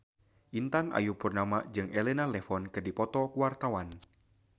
Intan Ayu Purnama jeung Elena Levon keur dipoto ku wartawan